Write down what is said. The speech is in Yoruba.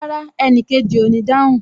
Rárá, enikeji o ní dáhùn